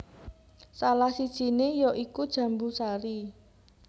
Salah sijiné ya iku jambu sari